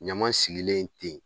Ɲama sigilen ten